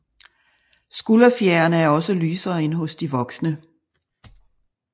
Skulderfjerene er også lysere end hos de voksne